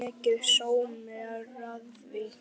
Mikill sómi er að því.